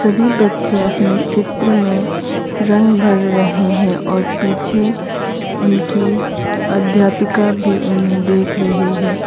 सभी बच्चे अपने चित्र में रंग भर रहे हैं और पिछे उनकी अध्यापिका भी उन्हें देख रही है।